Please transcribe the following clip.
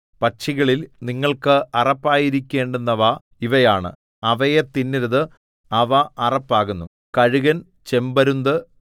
പക്ഷികളിൽ നിങ്ങൾക്ക് അറപ്പായിരിക്കേണ്ടുന്നവ ഇവയാണ് അവയെ തിന്നരുത് അവ അറപ്പാകുന്നു കഴുകൻ ചെമ്പരുന്ത്